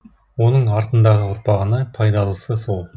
оның артындағы ұрпағына пайдалысы сол